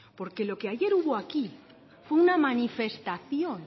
porque lo que ayer hubo aquí fue una manifestación